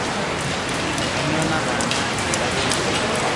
kanyoo naatana te gari enkima